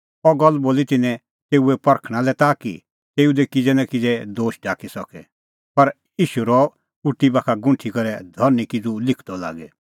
अह गल्ल बोली तिन्नैं तेऊ परखणां लै ताकि तेऊ दी किज़ै नां किज़ै दोश काढी सके पर ईशू रहअ उटी बाखा गुंठी करै धरनीं किज़ू लिखदअ लागी